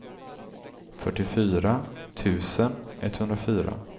fyrtiofyra tusen etthundrafyra